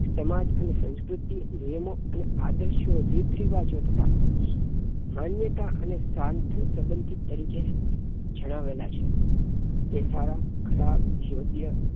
સમાજ અને સંસ્કૃતિ નિયમો અને આદર્શો રીતરિવાજો તથા માન્યતા અને શાંતિ સબંધિત પરિચય જણાવેલા છે તે સારા ખરાબ યોગ્ય